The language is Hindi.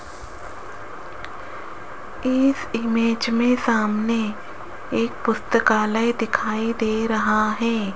इस इमेज में सामने एक पुस्तकालय दिखाई दे रहा है।